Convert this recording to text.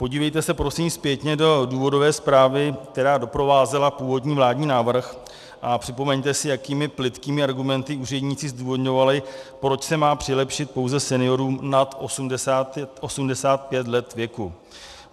Podívejte se prosím zpětně do důvodové zprávy, která doprovázela původní vládní návrh, a připomeňte si, jakými plytkými argumenty úředníci zdůvodňovali, proč se má přilepšit pouze seniorům nad 85 let věku.